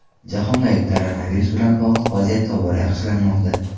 Jahondagi koronavirus bilan bog‘liq vaziyat tobora yaxshilanmoqda.